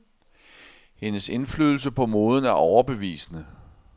Hendes indflydelse på moden er overbevisende.